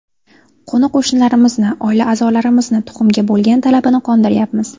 Qo‘ni-qo‘shnilarimizni, oila a’zolarimizni tuxumga bo‘lgan talabini qondiryapmiz.